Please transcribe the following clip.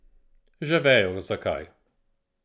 Že vejo zakaj.